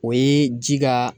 O ye ji ka